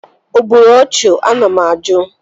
O gburu ọchụ? Ana m ajụ?